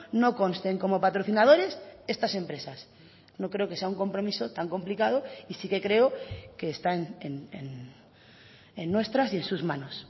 no consten como patrocinadores estas empresas no creo que sea un compromiso tan complicado y sí que creo que están en nuestras y en sus manos